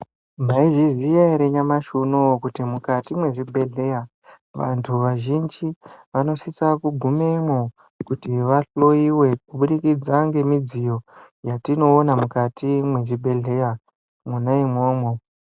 Mwaizviziya ere nyamashi unowo kuti mukati mezvibhedheya vantu vazhinji vanosisa kugumemwo kuti vahloyiwe kubudikidza ngemidziyo yatinoona mukati mezvibhedheya mwona imwomwo.